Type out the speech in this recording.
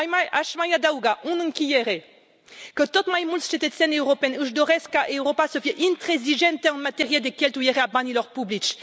Aș mai adăuga, în încheiere, că tot mai mulți cetățeni europeni își doresc ca Europa să fie intransigentă în materie de cheltuire a banilor publici.